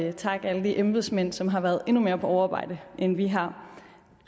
at takke alle de embedsmænd som har været endnu mere på overarbejde end vi har